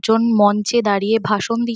একজন মঞ্চে দাঁড়িয়ে ভাষণ দিছ--